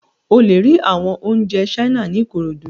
O le ri awọn ounjẹ China ni Ikorodu